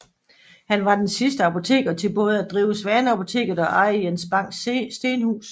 Han var den sidste apoteker til både at drive Svaneapoteket og eje Jens Bangs Stenhus